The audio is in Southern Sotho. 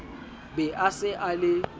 be a se a le